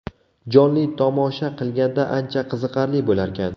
Jonli tomosha qilganda ancha qiziqarli bo‘larkan.